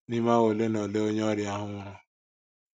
N’ime awa ole na ole, onye ọrịa ahụ nwụrụ.